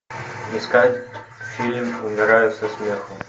искать фильм умираю со смеху